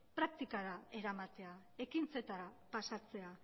praktikara eramatea ekintzetara pasatzea